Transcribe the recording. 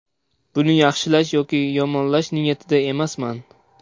Buni yaxshilash yoki yomonlash niyatida emasman.